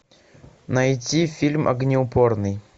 найти фильм огнеупорный